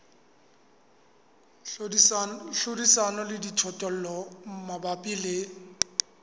hlodisana le dijothollo mabapi le